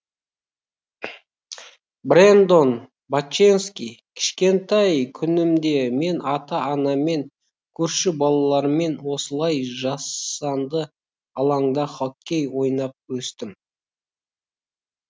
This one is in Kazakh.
брэндон боченски кішкентай күнімде мен ата анаммен көрші балалармен осылай жасанды алаңда хоккей ойнап өстім